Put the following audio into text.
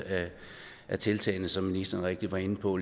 af tiltagene som ministeren rigtigt var inde på